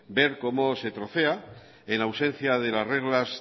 ver cómo se trocea en ausencia de las reglas